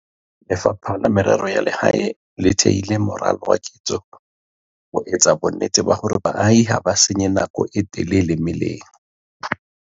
Lefapha la Merero ya Lehae le theile moralo wa ketso ho etsa bonnete ba hore baahi ha ba senye nako e telele meleng.